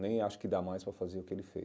Nem acho que dá mais para fazer o que ele fez.